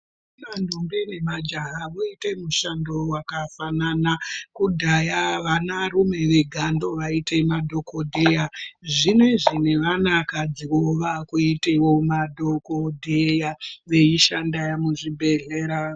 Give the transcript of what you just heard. Ndombi nemajaha voite mushando wakafanana. Kudhaya vanarume vega ndovaiite madhokodheya. Zvino izvi nevanakadziwo vakuitewo madhokodheya veishanda muzvibhedhlera